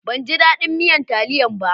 Ban ji dadin miyan taliyan ba.